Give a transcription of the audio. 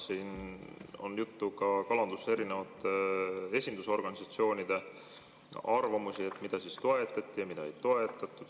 Siin on ka kalanduse erinevate esindusorganisatsioonide arvamusi, mida toetati ja mida ei toetatud.